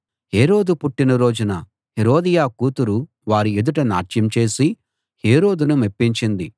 హేరోదు పుట్టిన రోజున హేరోదియ కూతురు వారి ఎదుట నాట్యం చేసి హేరోదును మెప్పించింది